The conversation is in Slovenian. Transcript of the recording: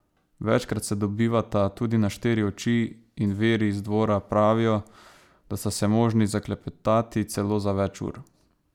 Večkrat se dobivata tudi na štiri oči in viri z dvora pravijo, da sta se zmožni zaklepetati celo za več ur.